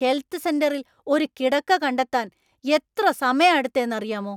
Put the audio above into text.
Health സെന്‍ററില്‍ ഒരു കിടക്ക കണ്ടെത്താന്‍ എത്ര സമയാ എടുത്തേ എന്നറിയാമോ.